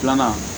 Filanan